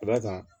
Ka d'a kan